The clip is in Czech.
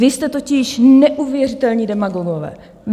Vy jste totiž neuvěřitelní demagogové.